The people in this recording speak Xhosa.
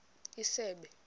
isebe